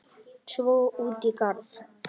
Svo út í garð.